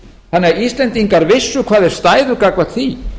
þannig að íslendingar vissu hvar þeir stæðu gagnvart því